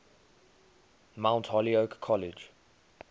mount holyoke college